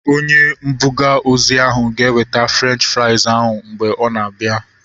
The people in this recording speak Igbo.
Onye mbuga ozi ahu ga-eweta Frenchi frais ahu mgbe ọ na-abia